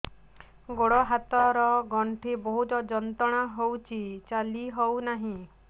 ଗୋଡ଼ ହାତ ର ଗଣ୍ଠି ବହୁତ ଯନ୍ତ୍ରଣା ହଉଛି ଚାଲି ହଉନାହିଁ